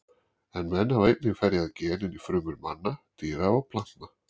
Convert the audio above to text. En menn hafa einnig ferjað gen inn í frumur manna, dýra og plantna.